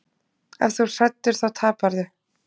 Ef þú ert hræddur þá taparðu.